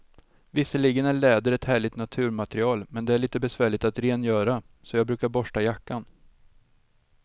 Visserligen är läder ett härligt naturmaterial, men det är lite besvärligt att rengöra, så jag brukar borsta jackan.